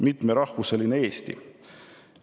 Mitmerahvuseline Eesti".